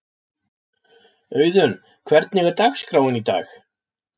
Auðun, hvernig er dagskráin í dag?